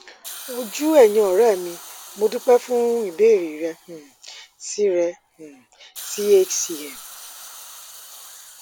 ojú ẹyìn ọrẹ mi mo dúpẹ fún ìbéèrè rẹ um sí rẹ um sí hcm